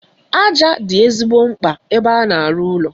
Aja dị ezigbo mkpa ebe a na-arụ ụlọ.